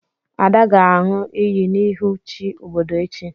Ada ga-aṅụ iyi n'ihu chi obodo echi.